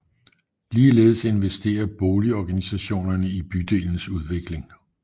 Ligeledes investerer boligorganisationerne i bydelens udvikling